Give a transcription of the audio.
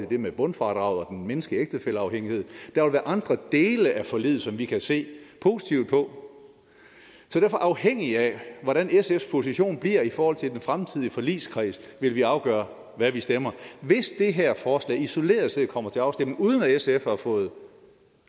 det med bundfradraget og den mindskede ægtefælleafhængighed der vil være andre dele af forliget som vi kan se positivt på så derfor afhængig af hvordan sfs position bliver i forhold til den fremtidige forligskreds vil vi afgøre hvad vi stemmer hvis det her forslag isoleret set kommer til afstemning uden at sf har fået en